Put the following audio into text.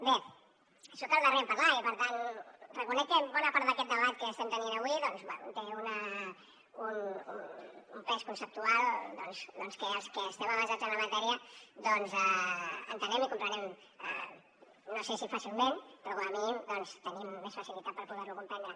bé soc el darrer en parlar i per tant reconec que bona part d’aquest debat que estem tenint avui té un pes conceptual doncs que els que estem avesats en la matèria entenem i comprenem no sé si fàcilment però com a mínim tenim més facilitat per poder lo comprendre